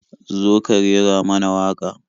Zo ka rera mana waƙa.